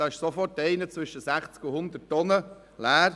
Diese wiegen schnell einmal zwischen 60 und 100 Tonnen.